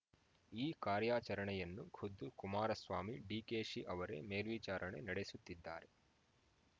ಈ ಕಾರ್ಯಾಚರಣೆಯನ್ನು ಖುದ್ದು ಕುಮಾರಸ್ವಾಮಿ ಡಿಕೆಶಿ ಅವರೇ ಮೇಲ್ವಿಚಾರಣೆ ನಡೆಸುತ್ತಿದ್ದಾರೆ